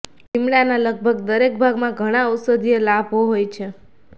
લિમડાનાં લગભગ દરેક ભાગમાં ઘણા ઔષધીય લાભો હોય છે